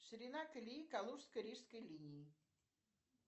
ширина колеи калужско рижской линии